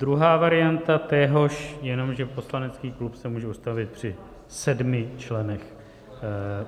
Druhá varianta téhož je, že poslanecký klub se může ustavit při sedmi členech.